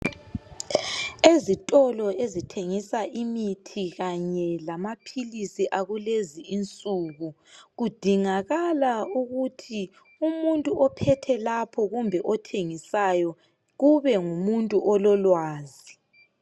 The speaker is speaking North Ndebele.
Ezitolo ezithengisa imithi kanye lamapilisi akulezi insuku. Kundingakala ukuthi umuntu ophethe lapho kumbe othengisayo kube ngumuntu olelwazi.